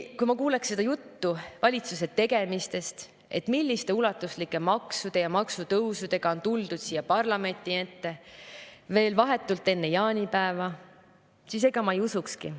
Kui ma kuuleks seda juttu valitsuse tegemistest, milliste ulatuslike maksude ja maksutõusudega on tuldud siia parlamendi ette veel vahetult enne jaanipäeva, siis ega ma ei usukski.